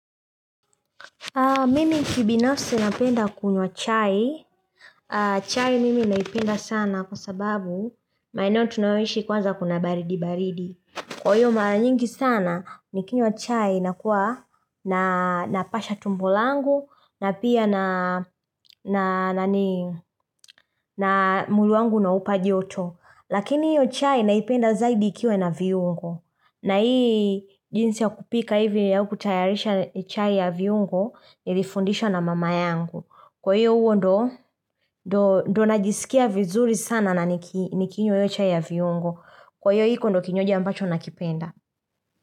Mimi kibinafsi napenda kunywa chai. Chai mimi naipenda sana kwa sababu maeneo tunayoishi kwanza kuna baridi baridi. Kwa hiyo mara nyingi sana ni kinywa chai na kuwa na napasha tumbo langu na pia na na mwili wangu naupa joto. Lakini hiyo chai naipenda zaidi ikiwa ina viungo. Na hii jinsi ya kupika hivi au kutayarisha chai ya viungo. Nilifundishwa na mama yangu. Kwa hiyo huo ndiyo, ndiyo najisikia vizuri sana na nikinywa hiyo chai ya viungo. Kwa hiyo hiko ndiyo kinywaji ambacho nakipenda.